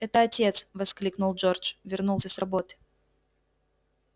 это отец воскликнул джордж вернулся с работы